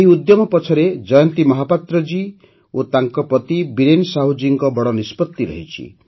ଏହି ଉଦ୍ୟମ ପଛରେ ଜୟନ୍ତୀ ମହାପାତ୍ର ଜୀ ଓ ତାଙ୍କ ପତି ବୀରେନ ସାହୁ ଜୀଙ୍କ ବଡ଼ ନିଷ୍ପତ୍ତି ରହିଛି